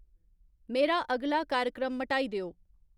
मेरा अगला कार्यक्रम मटाई देओ